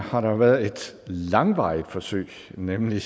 har der været et langvarigt forsøg nemlig